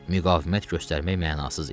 Müqavimət göstərmək mənasız idi.